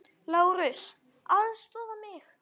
LÁRUS: Aðstoða mig!